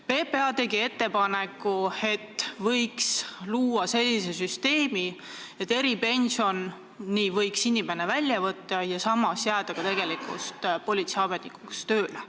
PPA tegi ettepaneku, et võiks luua sellise süsteemi, et inimene võiks eripensioni välja võtta ja samas jääda politseiametnikuna tööle.